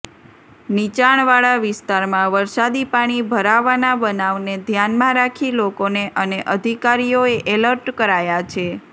નીચાણવાળા વિસ્તારમાં વરસાદી પાણી ભરાવાના બનાવને ધ્યાનમાં રાખી લોકોને અને અધિકારીઓએ એલર્ટ કરાયા છે